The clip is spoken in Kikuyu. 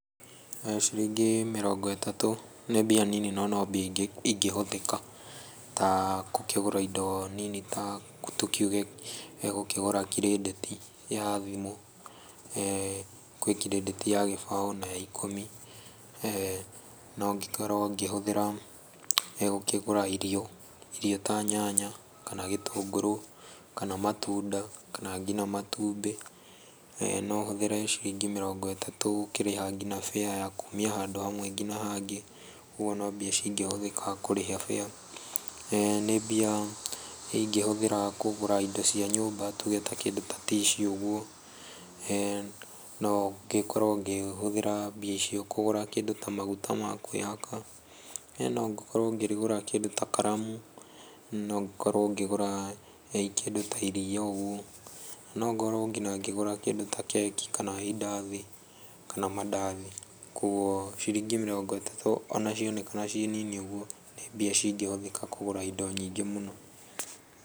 Ciringi mirongo ĩtatũ nĩ mbia nini no mbia ingĩhũthĩka ta gũkĩgura indo nini ta tũkiuge gũkĩgura kredĩti ya thimũ. Gwĩ kredĩti ya gĩbaũ na ya ikũmi. No ngĩkorwo ngĩhũthĩra gũkĩgũra irio, irio ta nyanya, kana gĩtũngũrũ, kana matunda, kana nginya matumbĩ. No hũthĩre ciringi mirongo ĩtatũ gũkĩrĩha nginya bĩa ya kumia handũ hamwe nginya handũ hangĩ. Ũguo no mbeca cingĩhũthĩka kũrĩha bĩa. Nĩ mbia ingĩhũthĩra kũgũra indo cia nyũmba tuge ta kĩndũ ta tissue ũguo. No ngĩkorwo ngĩhũthĩra mbeca icio kũgũra kĩndũ ta maguta ma kwĩhaka. No ngĩkorwo ngĩgũra kĩndũ ta karamu, no ngorwo ngĩgũra kĩndũ ta iria ũguo. No ngorwo nginya ngĩgũra kĩndũ ta keki, kana indathi, kana mandathi. Koguo ciringi mĩrongo ĩtatũ ona cionekana ciĩ nini ũguo nĩ mbia cingĩcithũkia kũgũra indo nyingĩ mũno.